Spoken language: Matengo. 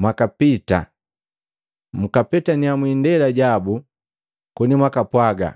mwakapita, mkapetannya mwindela yabu koni mwakapwaga,